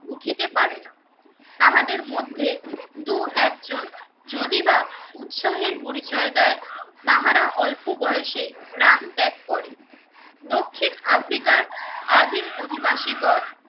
উঠিতে পারে না। তাহাদের মধ্যে দু একজন যদি বা উৎসাহের পরিচয় দেয় তাহারা অল্প বয়সেই প্রাণ ত্যাগ করে। দক্ষিণ আফ্রিকার আদিম অধিবাসী গণ